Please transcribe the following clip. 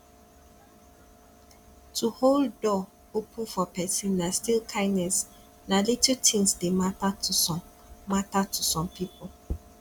to hold door open for persin na still kindness na little things de matter to some matter to some pipo